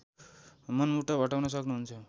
मनमुटाव हटाउन सक्नुहुन्छ